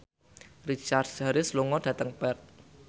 Richard Harris lunga dhateng Perth